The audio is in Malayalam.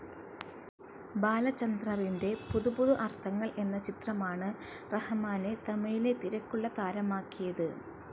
ബാലചന്ദ്രറിൻ്റെ പുതു പുതു അർത്ഥങ്ങൾ എന്ന ചിത്രമാണ് റഹമാനെ തമിഴിലെ തിരക്കുള്ള താരമാക്കിയത്.